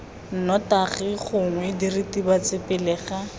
nnotagi gongwe diritibatsi pele ga